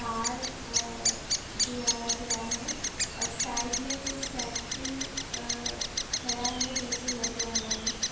गया है और साइड में कुछ फैक्ट्री अ खड़ा है जैसे लग रहा है।